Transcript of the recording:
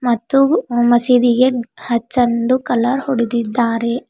ಮತ್ತು ಆ ಮಸೀದಿಗೆ ಹಚ್ಚಂದು ಕಲರ್ ಹೊಡೆದಿದ್ದಾರೆ.